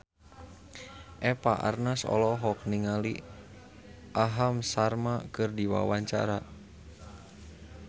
Eva Arnaz olohok ningali Aham Sharma keur diwawancara